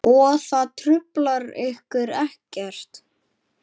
Og það truflar ykkur ekkert?